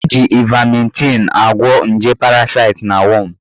Eji ivametịn agwọ nje parasite na wọm